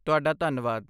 ਤੁਹਾਡਾ ਧੰਨਵਾਦ